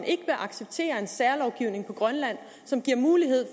ikke vil acceptere en særlovgivning på grønland som giver mulighed